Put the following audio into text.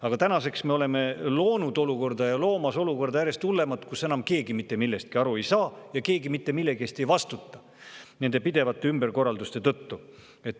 Aga tänaseks me oleme loonud sellise olukorra ja loomas järjest hullemat olukorda, kus keegi enam mitte millestki aru ei saa ja keegi mitte millegi eest ei vastuta nende pidevate ümberkorralduste tõttu.